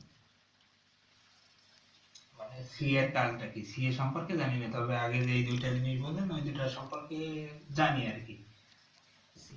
মানে CA এর কাজটা কি CA এ সম্পর্কে জানি না তো আগে যে দুটা জিনিস বলেন না ওই দুটার সম্পর্কে জানি আর কি